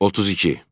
32.